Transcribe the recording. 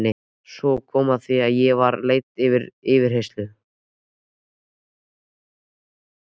Svo kom að því að ég var leidd til yfirheyrslu.